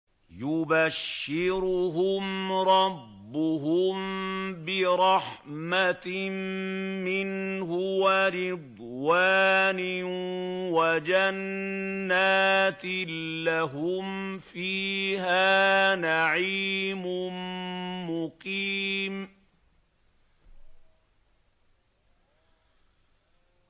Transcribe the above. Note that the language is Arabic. يُبَشِّرُهُمْ رَبُّهُم بِرَحْمَةٍ مِّنْهُ وَرِضْوَانٍ وَجَنَّاتٍ لَّهُمْ فِيهَا نَعِيمٌ مُّقِيمٌ